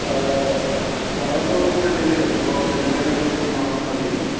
അതെ അതെ. നമ്മളൊക്കെ വരുന്നത് ഇന്ത്യയിൽ നിന്നാണ്. ഇപ്പൊ അതൊക്കെ തന്നെയാണ് നമുക്ക് കാണാൻ സാധിക്കുന്നത്.